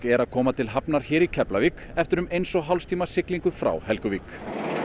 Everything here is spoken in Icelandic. er að koma til hafnar hér í Keflavík eftir um eins og hálfs tíma siglingu frá Helguvík